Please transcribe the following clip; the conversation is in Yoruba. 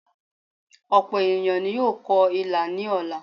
Òpò ènìyàn ni yóò kọ ilà ní ọ̀la